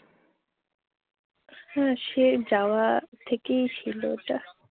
হ্যাঁ, সেই যাওয়া থেকেই ছিল ওটা।